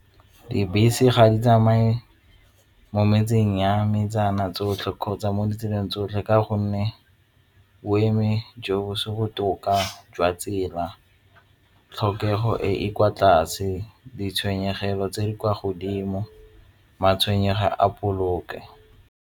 Dibese ga di tsamaye mo metseng ya metsana tsotlhe kgotsa mo ditseleng tsotlhe ka gonne o eme jo bo se botoka jwa tsela, tlhokego e e kwa tlase, ditshwenyegelo tse di kwa godimo matshwenyego a poloko.